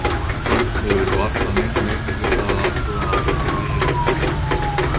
Jafnframt hefur varla neinn neitt við það að athuga að fólk hlæi að trúðum.